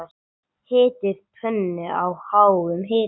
Hitið pönnu á háum hita.